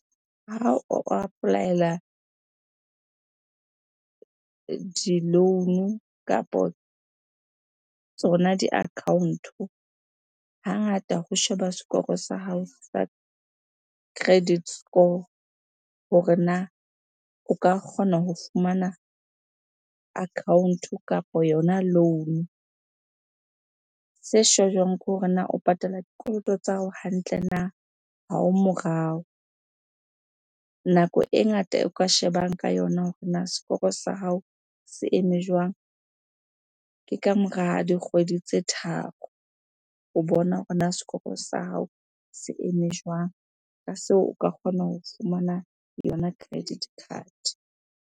Ha o apply-ela di-loan-o kapo tsona di-account-o, hangata ho sheba sekoro sa hao sa credit score hore na o ka kgona ho fumana account-o kapa yona loan-o. Se shejwang ke hore na o patala dikoloto tsa hao hantle, na ha o morao? Nako e ngata o ka shebang ka yona hore na sekoro sa hao se eme jwang? Ke kamora dikgwedi tse tharo, ho bona hore na sekoro sa hao se eme jwang? Ka seo o ka kgona ho fumana yona credit card.